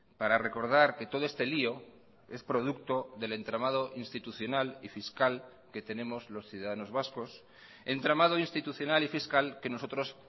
para recordar que todo este lío es producto del entramado institucional y fiscal que tenemos los ciudadanos vascos entramado institucional y fiscal que nosotros